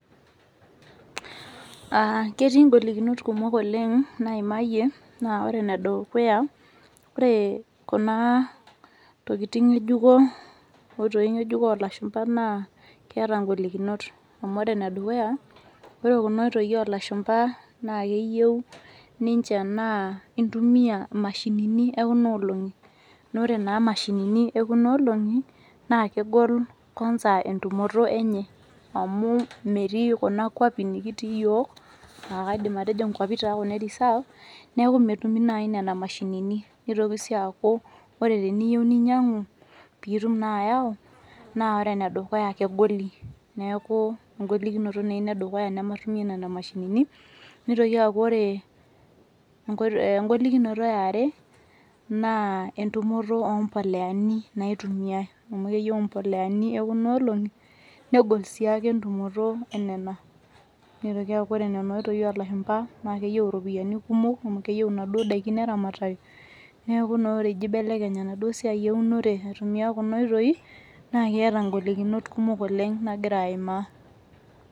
Aaa ketii inkolikinot kumok oleng naimayie aa ore enedukuya kore kuna tokitin nge'ejuko inkoitoi ng'ejuko oolashumba naa keeta inkolikinot amu ore enedukuya ore kuna oitoi oolashumba naa keyieu naa intumiya imashinini ekuna olong'i naa ore naa imashinini ekuna olong'i naa kegol kwanza entumoto enye amu metii kuna kwapi nikitii iyiok naakeidim atejo ikwapi taa e reserve neeku metumi naai nena mashinini neitoki naaku ore teniyieu ninyiang'u naa ore ena dukuya kegoli neeku engolikinoto naa ina edukuya nematumie nena mashinini neitoki aaku ore engolikinoto yaare naaa impoleani naitumiyai negol siiake entumoto enena